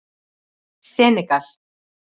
Senegal